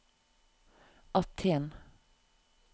Aten